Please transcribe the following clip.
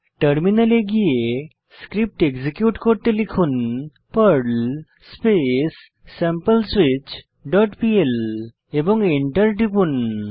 টার্মিনালে গিয়ে script execute করতে লিখুন Perl space sample switch dot PL এবং এন্টার টিপুন